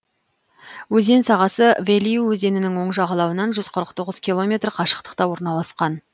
өзен сағасы велью өзенінің оң жағалауынан жүз қырық тоғыз километр қашықтықта орналасқан